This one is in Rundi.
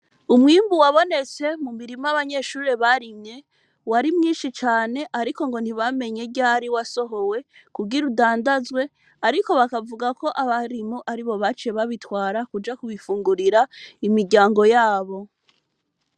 Umwimbu wabonetse mu mirima abanyeshuri barimye wari mwinshi cane ariko ngo ntibamenye ryari wasohowe kugira udandazwe ariko bakavuga ko abarimu aribo baciye babitwara kuja kubifungurira imiryango yabo.